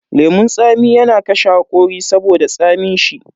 Lemun tsami yana kashe hakori saboda tsamin shi.